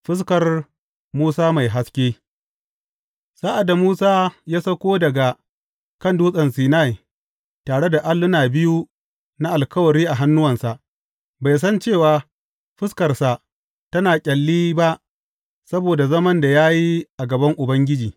Fuskar Musa mai haske Sa’ad da Musa ya sauko daga kan Dutsen Sinai tare da alluna biyu na Alkawari a hannuwansa, bai san cewa fuskarsa tana ƙyalli ba saboda zaman da ya yi a gaban Ubangiji.